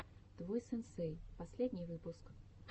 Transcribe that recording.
твой сенсей последний выпуск